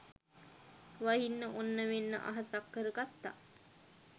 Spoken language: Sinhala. වහින්න ඔන්න මෙන්න අහසක් කර ගත්තා